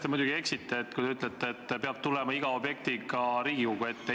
Te muidugi eksite, kui te ütlete, et iga objektiga peab tulema Riigikogu ette.